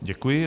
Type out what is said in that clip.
Děkuji.